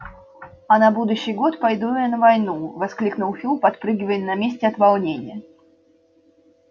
а на будущий год пойду на войну я воскликнул фил подпрыгивая на месте от волнения